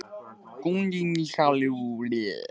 Einnig hafði ég önnur bréf sem Gerður geymdi.